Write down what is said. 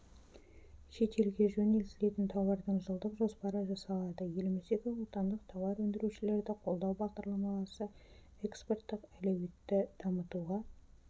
шетелге жөнелтілетін тауардың жылдық жоспары жасалады еліміздегі отандық тауар өндірушілерді қолдау бағдарламасы экспорттық әлеуетті дамытуға